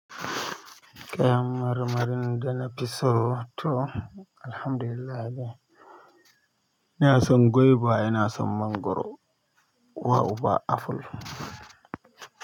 Kayan marmarin da na fi so to Alhamdulillah dai. Ina son gwaiba, ina son mangoro, uwa uba aful.